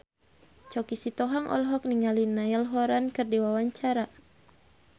Choky Sitohang olohok ningali Niall Horran keur diwawancara